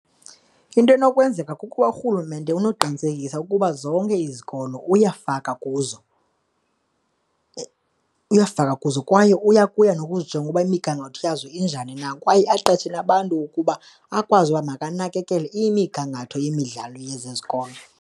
Into enokwenzeka kukuba urhulumente unoqinisekisa ukuba zonke izikolo uyafaka kuzo, uyafaka kuzo kwaye uyakuya nokuzijonga ukuba imigangatho yazo injani na kwaye aqeshe nabantu ukuba akwazi uba makanakakele imigangatho yemidlalo yezi zikolo.